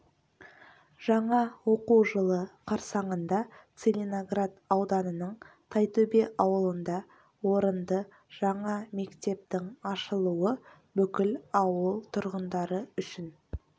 жаңа оқу жылы қарсаңында целиноград ауданының тайтөбе ауылында орынды жаңа мектептің ашылуы бүкіл ауыл тұрғындары үшін